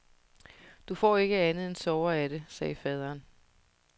Du får ikke andet end sorger af det, sagde faderen.